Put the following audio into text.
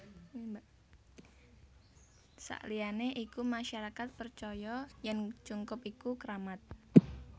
Saliyane iku masyarakat percaya yen cungkup iku kramat